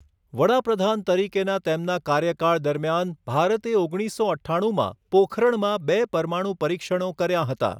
વડાપ્રધાન તરીકેના તેમના કાર્યકાળ દરમિયાન, ભારતે ઓગણીસસો અઠ્ઠાણુંમાં પોખરણમાં બે પરમાણુ પરીક્ષણો કર્યા હતા.